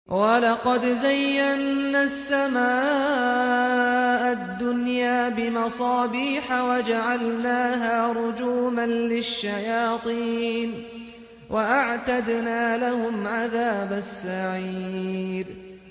وَلَقَدْ زَيَّنَّا السَّمَاءَ الدُّنْيَا بِمَصَابِيحَ وَجَعَلْنَاهَا رُجُومًا لِّلشَّيَاطِينِ ۖ وَأَعْتَدْنَا لَهُمْ عَذَابَ السَّعِيرِ